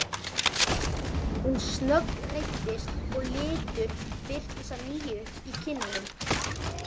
Hún snöggreiddist og litur birtist að nýju í kinnunum.